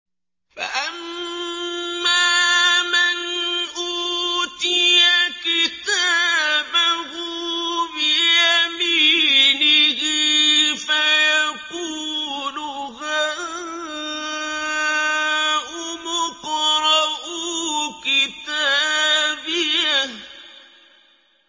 فَأَمَّا مَنْ أُوتِيَ كِتَابَهُ بِيَمِينِهِ فَيَقُولُ هَاؤُمُ اقْرَءُوا كِتَابِيَهْ